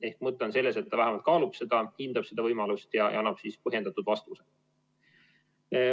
Ehk mõte on selles, et ta vähemalt kaalub seda, hindab seda võimalust ja annab siis põhjendatud vastuse.